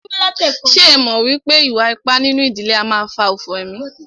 Ṣé ẹ mọ̀ wípé ìwà ipá nínú ìdílé a máà fà òfò emí?